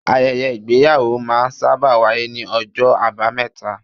Ayẹyẹ Ìgbéyàwó máa ń sábà wáyé ní ọjọ́ abameta.